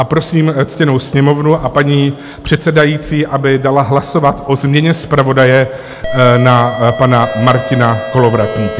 A prosím ctěnou Sněmovnu a paní předsedající, aby dala hlasovat o změně zpravodaje na pana Martina Kolovratníka.